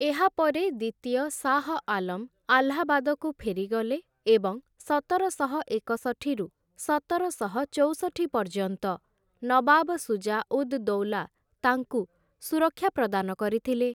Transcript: ଏହାପରେ ଦ୍ୱିତୀୟ ଶାହ ଆଲମ ଆହ୍ଲାବାଦକୁ ଫେରିଗଲେ ଏବଂ ସତରଶହ ଏକଷଠିରୁ ସତରଶହ ଚଉଷଠି ପର୍ଯ୍ୟନ୍ତ ନବାବ ସୁଜା ଉଦ୍‌ ଦୌଲା ତାଙ୍କୁ ସୁରକ୍ଷା ପ୍ରଦାନ କରିଥିଲେ ।